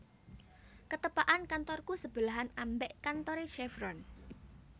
Ketepakan kantorku sebelahan ambek kantore Chevron